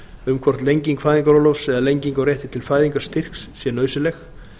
um hvort lenging fæðingarorlofs eða lenging á rétti til fæðingarstyrks sé nauðsynleg